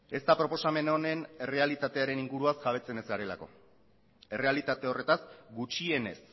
ez da proposamen honen errealitatearen inguruaz jabetzen ez garelako errealitate horretaz gutxienez